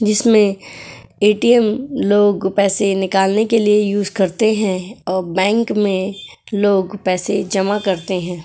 जिसमें एटीएम लोग पैसे निकालने के लिए यूस करते हैं और बैंक में लोग पैसे जमा करते हैं।